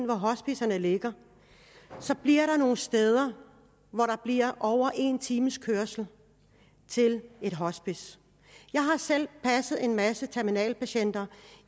hvor hospicerne ligger så er der nogle steder hvor der er over en times kørsel til et hospice jeg har selv passet en masse terminalpatienter